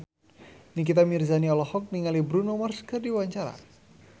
Nikita Mirzani olohok ningali Bruno Mars keur diwawancara